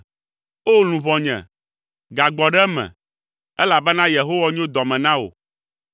O! Luʋɔnye, gagbɔ ɖe eme, elabena Yehowa nyo dɔ me na wò.